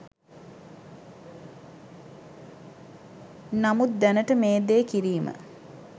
නමුත් දැනට මේ දේ කිරීම